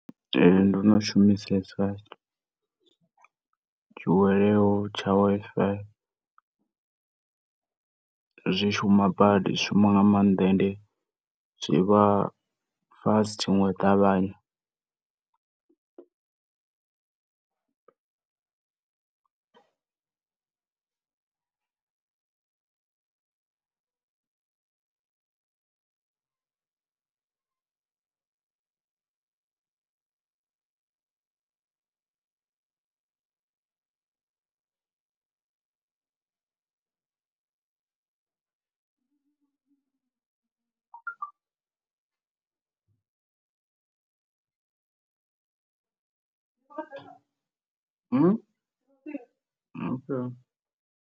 Ee, ndono shumisesa tshi hwaleaho tsha Wi-Fi zwi shuma badi zwi shuma nga maanḓa ende zwivha fast nga u ṱavhanya.